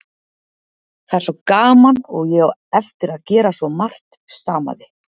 Það er svo gaman og ég á eftir að gera svo margt. stamaði